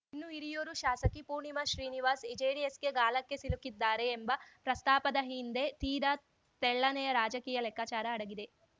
ಇನ್ನು ಹಿರಿಯೂರು ಶಾಸಕಿ ಪೂರ್ಣಿಮಾ ಶ್ರೀನಿವಾಸ್‌ ಜೆಡಿಎಸ್‌ಗೆ ಗಾಳಕ್ಕೆ ಸಿಲುಕುತ್ತಾರೆ ಎಂಬ ಪ್ರಸ್ತಾಪದ ಹಿಂದೆ ತೀರಾ ತೆಳ್ಳನೆಯ ರಾಜಕೀಯ ಲೆಕ್ಕಾಚಾರ ಅಡಗಿದೆ